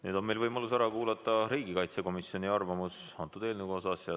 Nüüd on meil võimalus ära kuulata riigikaitsekomisjoni arvamus eelnõu kohta.